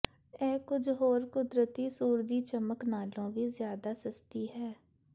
ਇਹ ਕੁੱਝ ਹੋਰ ਕੁਦਰਤੀ ਸੂਰਜੀ ਚਮਕ ਨਾਲੋਂ ਵੀ ਜ਼ਿਆਦਾ ਸਸਤੀ ਹੈ